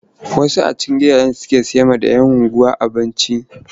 Wasu a cikin gidajensu suke sayarwa 'yan unguwa abinci.